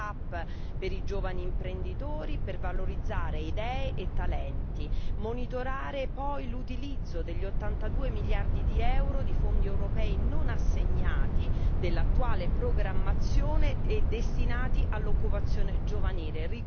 Terzo start up per i giovani imprenditori per valorizzare idee e talenti. Quarto monitoraggio dell'utilizzo degli 82 miliardi di euro di fondi europei non assegnati dell'attuale programmazione destinati all'occupazione giovanile.